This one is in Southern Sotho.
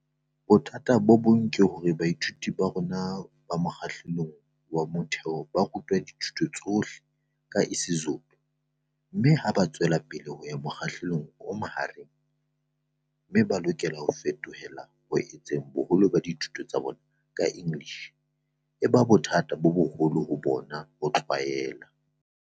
"Bothata bo bong ke hore baithuti ba rona ba mokga hlelong wa motheo ba ru twa dithuto tsohle ka isiZulu mme ha ba tswelapele ho ya mokgahlelong o mahareng mme ba lokela ho fetohela ho etseng boholo ba dithuto tsa bona ka English, e ba bothata bo boholo ho bona ho tlwaela."